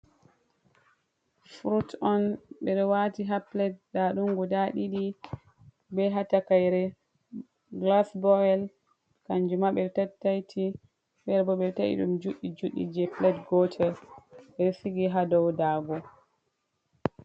Frut on, ɓe ɗo waati haa pilet. Nda ɗum guda ɗiɗi, be haa takaire gilas boyel. Kanjum ma ɓe ɗo tattaiti, fere bo ɓe ɗo ta'i ɗum juɗɗi-juɗɗi je pilet gotel , ɓe ɗo sigi haa dow daago.